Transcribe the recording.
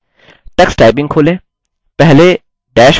tux typing खोलें